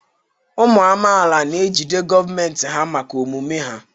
Ụmụ amaala na ejide gọọmentị ha maka omume ha.